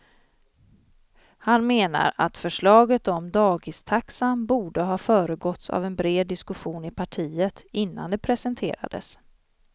Han menar att förslaget om dagistaxan borde ha föregåtts av en bred diskussion i partiet innan det presenterades.